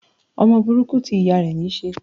Ọmọ burúkú ti ìyá níí ṣe.